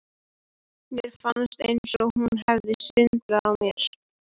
Mér fannst eins og hún hefði svindlað á mér.